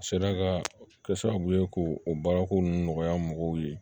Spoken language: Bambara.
Sera ka kɛ sababu ye k'o baara ko nunnu nɔgɔya mɔgɔw ye